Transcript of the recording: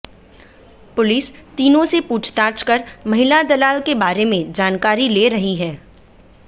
police तीनों से पूछताछ कर महिला दलाल के बारे में जानकारी ले रही है